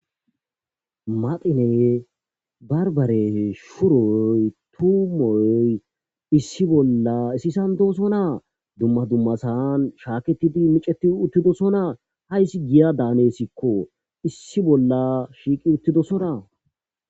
Maqine barbare shuroy tuumoy issi bolla isisandosonaa dumma dumma saan shaaketidi miceti uttidosonaa hayssi giya daaneessikko issi bolla shiiqi uttidosona.